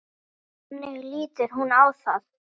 Þannig lítur hún á það.